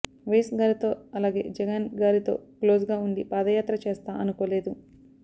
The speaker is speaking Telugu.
వైఎస్ గారితో అలాగే జగన్ గారితో క్లోజ్గా ఉండి పాదయాత్ర చేస్తా అనుకోలేదు